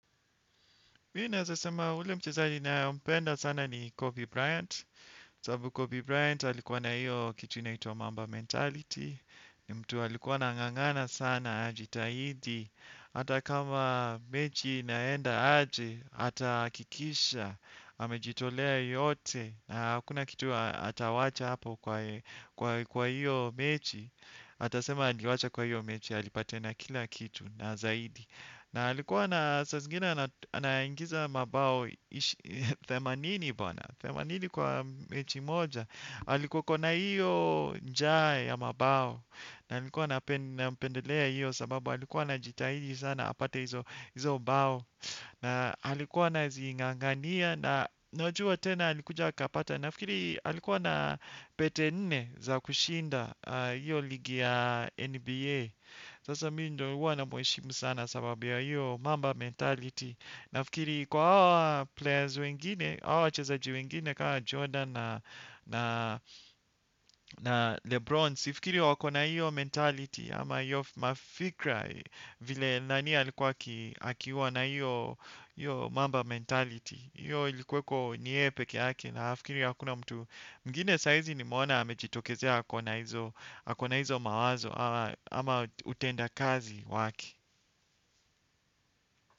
Mimi ninaeza sema ule mchezaji nampenda sana ni Kobe Bryant. Kwa sababu Kobe Bryant alikuwa na hiyo kitu inaitwa Mamba Mentality. Ni mtu alikuwa anangangana sana ajitahidi. Hata kama mechi inaenda aje. Atahakikisha. Amejitolea yote. Na hakuna kitu atawacha hapo kwa hiyo mechi. Atasema aliwacha kwa hiyo mechi.alipatiana kila kitu na zaidi. Na alikuwa na saa zingine anaingiza mabao themanini bwana, themanini kwa mechi moja alikuwa ako na hiyo nja ya mabao. Na qlikuwa nampendelea hiyo sababu alikuwa anajitahidi sana apate hizo bao. Na alikuwa anazingangania na najua tena alikuja akapata. Nafikiri alikuwa na pete nne za kushinda hiyo ligi ya NBA. Sasa mimi ndo huwa namheshimu sana sababu ya hiyo mamba mentality. Nafikiri kwa hawa players wengine, hawa wachezaji wengine kama Jordan na Lebron. Sifikiri wako na hiyo mentality ama hiyo mafikra vile nani alikuwa akiwa na hiyo mamba mentality. Hiyo ilikuweko ni yeye pekee yake nafikiri hakuna mtu mwingine sahizi nimeona amejitokezea ako na hizo mawazo ama utendakazi wake.